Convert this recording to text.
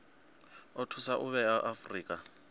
o thusa u vhea afurika